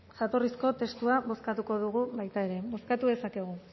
jatorrizko testua bozkatuko dugu baita ere bozkatu dezakegu